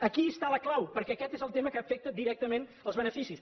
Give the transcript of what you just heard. aquí hi ha la clau perquè aquest és el tema que afecta directament els beneficis